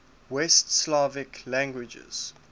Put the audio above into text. west slavic languages